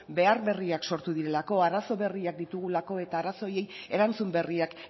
behar berriak sortu direlako arazo berriak ditugulako eta arazo horiei erantzun berriak